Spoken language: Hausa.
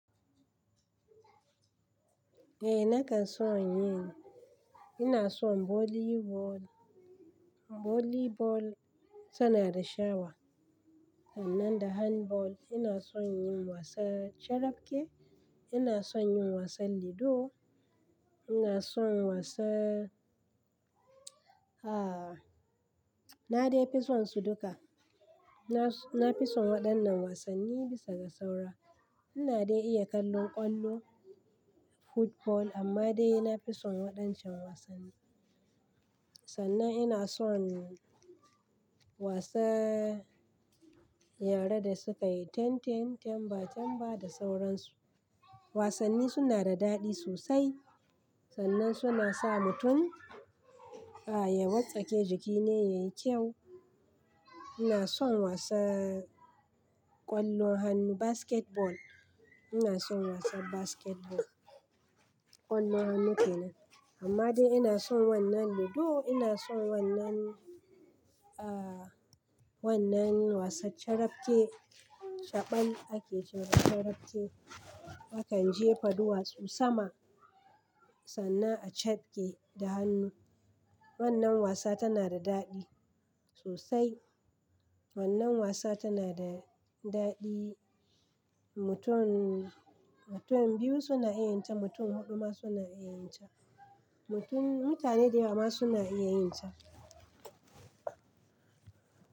Eh na kan son yin. Ina son volley ball. Volley ball tana da shawa. Sannan da hand ball. Ina son yin wasan carafke. Ina son yin wasan ludo. Ina son wasa, na dai fi son su duka. Na, na fi son waɗannan wasanni bisa ga saura. Ina dai iya kallon ƙwallo, football, amma dai na fi son waɗancan wasanni. Sannan ina son wasa yare da sukayi tenten, temba temba da sauransu. Wasanni suna da daɗi sosai. Sannan suna sa mutum, aah, ya wartsake jiki na yayi kyau. Ina son wasan ƙwallon hannu basketball. Ina son wasan basketball. Ƙwallon hannu kenan. Amma dai ina son wannan ludo. Ina son wannan, aah, wannan wasan carafke. Shaɓan ake ce wa carafke. Akan jefa duwatsu sama sannan a cafke da hannu. Wannan wasa tana da daɗi sosai. Wannan wasa tana da daɗi. Mutum, mutum biyu suna iya yin ta, mutum huɗu ma suna iya yin ta. Mutum, mutane dayawa ma suna iya yin ta.